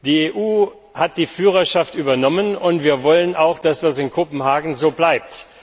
Die EU hat die Führerschaft übernommen, und wir wollen auch, dass das in Kopenhagen so bleibt.